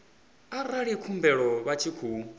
arali khumbelo vha tshi khou